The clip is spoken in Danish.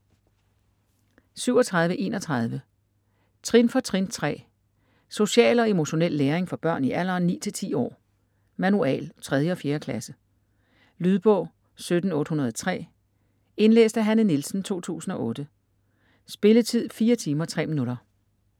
37.31 Trin for trin 3: social og emotionel læring for børn i alderen 9-10 år: manual: 3. og 4. klasse Lydbog 17803 Indlæst af Hanne Nielsen, 2008. Spilletid: 4 timer, 3 minutter.